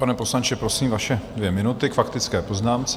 Pane poslanče, prosím, vaše dvě minuty k faktické poznámce.